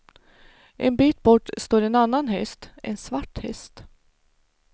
En bit bort står en annan häst, en svart häst.